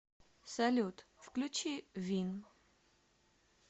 салют включи вин